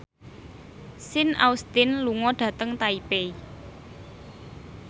Sean Astin lunga dhateng Taipei